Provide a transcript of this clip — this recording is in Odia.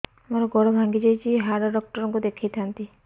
ମୋର ଗୋଡ ଭାଙ୍ଗି ଯାଇଛି ହାଡ ଡକ୍ଟର ଙ୍କୁ ଦେଖେଇ ଥାନ୍ତି